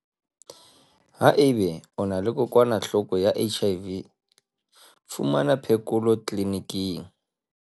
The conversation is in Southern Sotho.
Haeba o ena le kokokwanahloko ya HIV, fumana phekolo tlelenikeng.